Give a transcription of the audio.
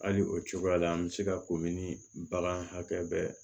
Hali o cogoya la an bɛ se ka komi bagan hakɛ bɛɛ